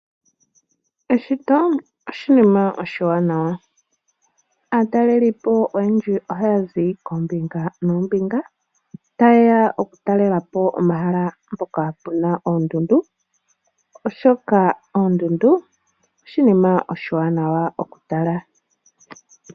Eshito oshinima oshiwanawa, aatalelipo oyendji ohaya zi koombinga noombinga taye ya okutalelapo omahala mpoka pu na oondundu oshoka oondundu oshinima oshiwanawa okutala.